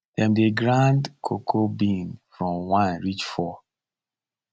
dem dey grade cocoa bean from one reach four